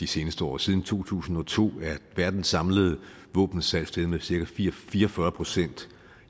de seneste år siden to tusind og to er verdens samlede våbensalg steget med cirka fire fire og fyrre procent